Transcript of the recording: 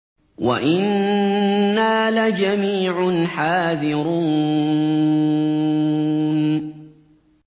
وَإِنَّا لَجَمِيعٌ حَاذِرُونَ